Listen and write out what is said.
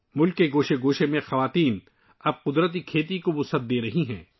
ملک کے کونے کونے میں خواتین اب قدرتی کھیتی کو بڑھا رہی ہیں